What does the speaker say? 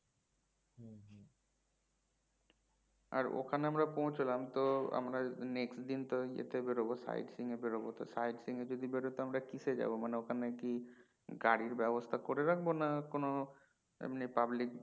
আর ওখানে আমরা পৌঁছলাম তো আমরা next দিন তো ইয়েতে বোরোবো side seeing যদি বেরোয় তো কীসে যাবো মানে ওখানে কি গাড়ির ব্যাবস্তা করে রাখবো না কোনো এমনি public